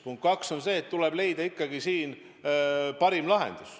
Punkt 2 on see, et tuleb leida ikkagi parim lahendus.